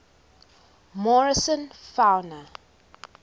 morrison fauna